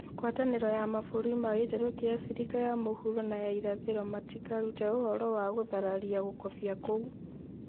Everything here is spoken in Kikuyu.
ngwatanĩro ya mabũrũri ma gĩtarũ kia Afrika ya mũhuro na ya irathĩro matĩkarute ũhoro wa guthararia gũkobia kũu